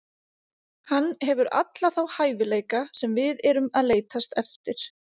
Hann hefur alla þá hæfileika sem við erum að leitast eftir.